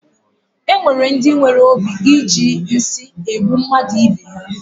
E nwere ndi nwere obi i ji nsị egbu mmadụ ibe ha.